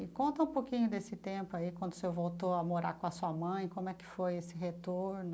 E conta um pouquinho desse tempo aí, quando o senhor voltou a morar com a sua mãe, como é que foi esse retorno?